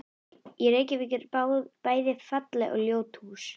Í Reykjavík eru bæði falleg og ljót hús.